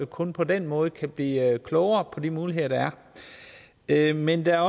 kun på den måde kan vi blive klogere på de muligheder der er men der er